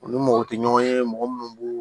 U ni mɔgɔ tɛ ɲɔgɔn ye mɔgɔ minnu b'u